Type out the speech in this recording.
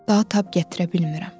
Daha tab gətirə bilmirəm.